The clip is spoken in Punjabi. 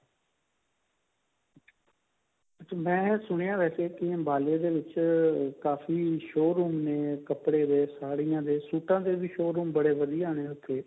ਮੈਂ ਸੁਣਿਆ ਵੈਸੇ ਕਿ ਅੰਬਾਲੇ ਦੇ ਵਿੱਚ ਕਾਫੀ showroom ਨੇ ਕੱਪੜੇ or ਸਾੜੀਆਂ ਦੇ ਸੂਟਾਂ ਦੇ ਵੀ showroom ਬਹੁਤ ਵਧੀਆ ਨੇ ਉੱਥੇ